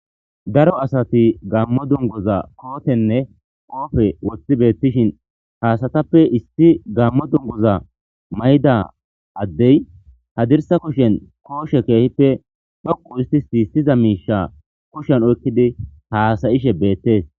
daro asati gammo dunguza kootenne qoofe woththi beettishin ha asatappe issi gammo dunguza mayda addey hadirsa kushen kooshe keehippe dhoqu histizayissiza miisha kushen oykkidi haasayishe beettees